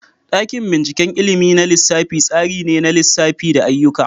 Dakin binciken ilimin na lissafi tsari ne na lissafi da ayyuka.